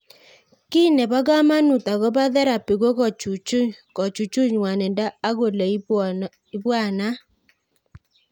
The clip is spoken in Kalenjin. Kiy nepo kamanut akopo therapy ko kochuchuch ng'wanindo ak ole ipwanat